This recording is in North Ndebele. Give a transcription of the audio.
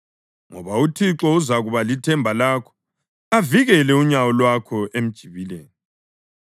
ngoba uThixo uzakuba lithemba lakho avikele unyawo lwakho emjibileni.